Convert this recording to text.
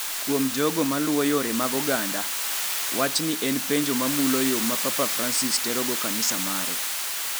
Kuom jogo ma luwo yore mag oganda, wachni en penjo mamulo yo ma Papa Francis terogo kanisa mare.